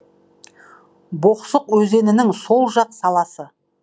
боқсық өзенінің сол жақ саласы